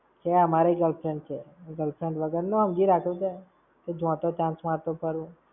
છે અમારી ય girlfriend છે. હું girlfriend વગરનો હમજી રાખ્યો કે? જ્યાં ત્યાં chance મારતો ફરું?